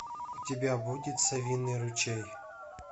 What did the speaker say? у тебя будет совиный ручей